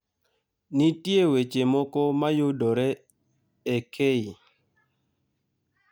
Nitie weche moko mayudore e k.